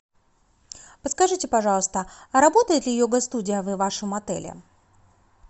подскажите пожалуйста а работает ли йога студия в вашем отеле